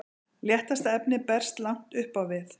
léttasta efnið berst langt upp á við